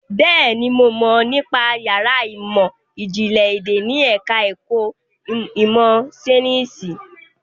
Bẹ́ẹ̀ni, mo mọ̀ nípa yàrá ìmọ̀ ìjìnlẹ̀ èdè ní ẹ̀ka ẹ̀kọ́ ìmọ̀ Ṣainíìsì.